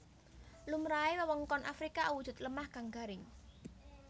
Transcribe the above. Lumrahe wewengkon Afrika awujud lemah kang garing